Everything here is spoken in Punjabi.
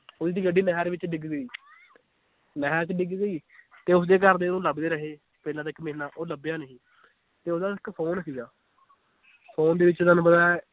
ਓਹਦੀ ਗੱਡੀ ਨਹਿਰ ਵਿਚ ਡਿੱਗ ਗਈ ਨਹਿਰ ਚ ਡਿੱਗ ਗਈ ਤੇ ਉਸਦੇ ਘਰ ਦੇ ਉਹਨੂੰ ਲੱਭਦੇ ਰਹੇ, ਪਹਿਲਾਂ ਤੇ ਇੱਕ ਮਹੀਨਾ ਉਹ ਲਭਿਆ ਨਹੀਂ ਤੇ ਓਹਦਾ ਇੱਕ phone ਸੀਗਾ phone ਦੇ ਵਿਚ ਤੁਹਾਨੂੰ ਪਤਾ ਏ